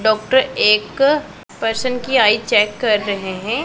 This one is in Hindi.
डॉक्टर एक पर्सन की आई चेक कर रहे हैं।